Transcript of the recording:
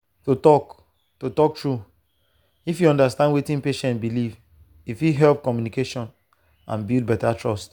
to talk to talk true if you understand wetin patient believe e fit help communication and build better trust.